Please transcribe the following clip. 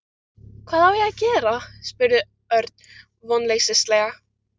Hvað á ég að gera? spurði Örn vonleysislega.